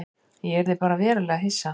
Ég yrði bara verulega hissa.